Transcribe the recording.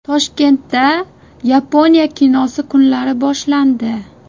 Toshkentda Yaponiya kinosi kunlari boshlandi.